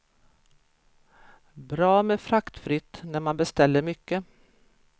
Bra med fraktfritt när man beställer mycket.